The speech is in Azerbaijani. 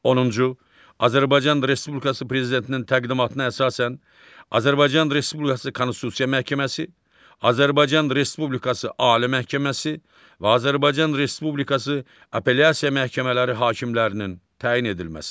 Onuncu, Azərbaycan Respublikası Prezidentinin təqdimatına əsasən Azərbaycan Respublikası Konstitusiya Məhkəməsi, Azərbaycan Respublikası Ali Məhkəməsi və Azərbaycan Respublikası Apellyasiya Məhkəmələri hakimlərinin təyin edilməsi.